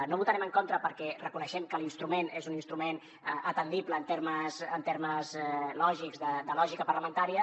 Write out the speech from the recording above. no hi votarem en contra perquè reconeixem que l’instrument és un instrument atendible en termes lògics de lògica parlamentària